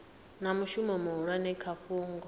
na mushumo muhulwane kha fhungo